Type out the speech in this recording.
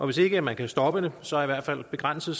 hvis ikke man kan stoppe det så i hvert fald begrænser